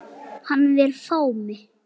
Hann vill fá mig.